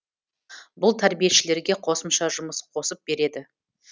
бұл тәрбиешілерге қосымша жұмыс қосып береді